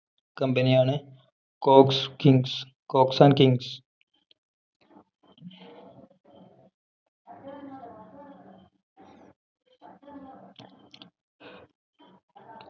company ആണ് Cox Kings Cox and Kings